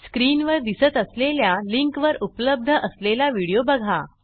स्क्रीनवर दिसत असलेल्या लिंकवर उपलब्ध असलेला व्हिडिओ बघा